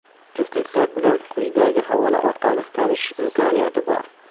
Juftliklar bilan quyidagi havola orqali tanishish imkoniyati bor.